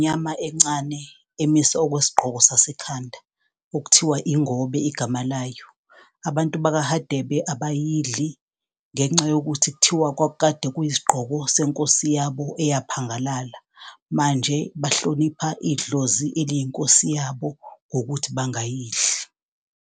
Nyama encane emiswe okwesigqoko sasekhanda okuthiwa ingobe igama layo. Abantu baka Hadebe abayidli, ngenxa yokuthi kuthiwa kwakukade kuyisigqoko senkosi yabo eyaphangalala, manje bahlonipha idlozi eliyi nkosi yabo ngokuthi bangayidli.